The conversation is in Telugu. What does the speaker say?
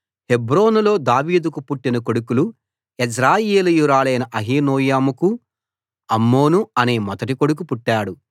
హెబ్రోనులో దావీదుకు పుట్టిన కొడుకులు యెజ్రెయేలీయురాలైన అహీనోయముకు అమ్నోను అనే మొదటి కొడుకు పుట్టాడు